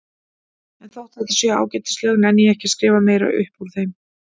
En þótt þetta séu ágætis lög nenni ég ekki að skrifa meira upp úr þeim.